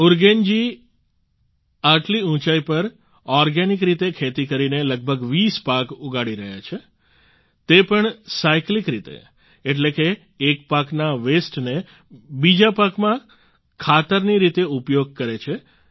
ઉરગેન જી આટલી ઉંચાઈ પર ઓર્ગેનિક રીતે ખેતી કરીને લગભગ 20 પાક ઉગાડી રહ્યા છે તે પણ સાયક્લિક રીતે એટલે કે એક પાકના વસ્તે ને બીજા પાકમાં ખાતરની રીતે ઉપયોગ કરે છે